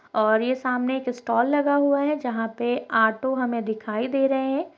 और ये सामने एक स्टाल लगा हुआ है जहाँ पे ऑटो हमें दिखाई दे रहे हैं।